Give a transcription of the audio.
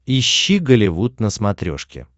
ищи голливуд на смотрешке